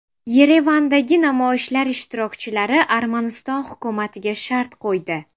Yerevandagi namoyishlar ishtirokchilari Armaniston hukumatiga shart qo‘ydi.